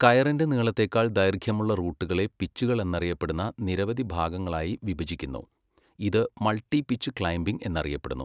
കയറിന്റെ നീളത്തേക്കാൾ ദൈർഘ്യമുള്ള റൂട്ടുകളെ പിച്ചുകൾ എന്നറിയപ്പെടുന്ന നിരവധി ഭാഗങ്ങളായി വിഭജിക്കുന്നു, ഇത് മൾട്ടി പിച്ച് ക്ലൈംബിംഗ് എന്നറിയപ്പെടുന്നു.